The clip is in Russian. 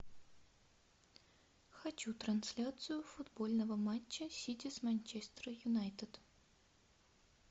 хочу трансляцию футбольного матча сити с манчестер юнайтед